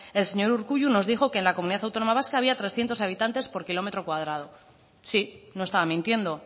el señor urkullu nos dijo que en la comunidad autónoma vasca había trescientos habitantes por kilómetro cuadrado sí no estaba mintiendo